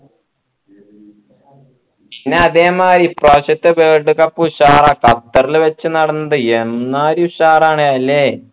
ഇനി അതേ മാരി ഇപ്രാവശ്യത്തെ world cup ഉഷാറാക്കാം നടന്നത് എമ്മാരി ഉഷാറാണ് ല്ലേ